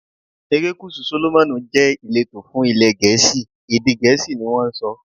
Erékùṣù Sólómọ́nì jẹ́ ìletò fún ilé Gẹ̀ẹ́sì, èdè Gẹ̀ẹ́sì ni wón ń sọ.